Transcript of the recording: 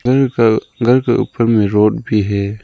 घर के ऊपर में रोड भी है।